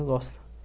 gosto.